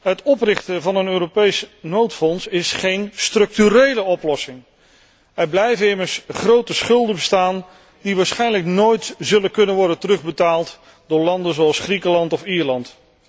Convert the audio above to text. Het oprichten van een Europees noodfonds is geen structurele oplossing. Er blijven immers grote schulden bestaan, die waarschijnlijk nooit zullen kunnen worden terugbetaald door landen zoals Griekenland of Ierland.